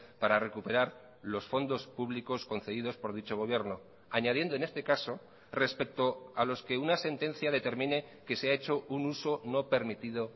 para recuperar los fondos públicos concedidos por dicho gobierno añadiendo en este caso respecto a los que una sentencia determine que se ha hecho un uso no permitido